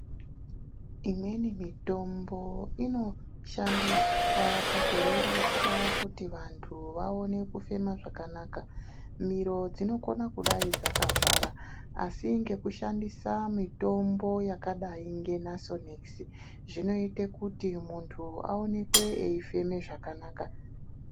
Imweni mitombo inoshandiswa pakurerusa wamweni wandu waone kufema zvakanaka, mhino dzinokona kudai dzakavhara asi ngekushandisa mitombo yakadai ngeNasonekisi zvinoita kuti mundu aonekwe eifeme zvakanaka.